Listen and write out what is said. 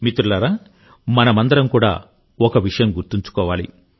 మనమందరం కూడా ఒక విషయం గుర్తుంచుకోవాలి